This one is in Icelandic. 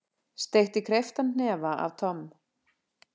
Steytti krepptan hnefa að Tom.